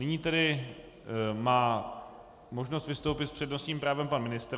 Nyní tedy má možnost vystoupit s přednostním právem pan ministr.